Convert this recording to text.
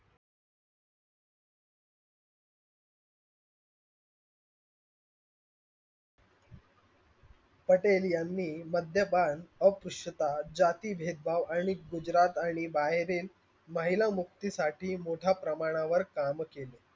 पटेल यांनी मद्यपान अस्पृश्यता जाती भेदभाव आणि गुजरात आणि बाहेरील महिला मुक्तीसाठी मोठ्या प्रमाणावर काम केले.